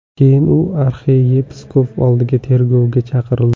Keyin u arxiyepiskop oldiga tergovga chaqirildi.